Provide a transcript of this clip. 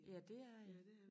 Ja det er jeg